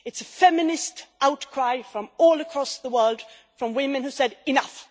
It is a feminist outcry from all across the world from women who say enough!